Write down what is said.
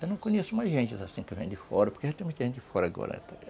Eu não conheço mais gente assim que vem de fora, porque já tem muita gente de fora agora.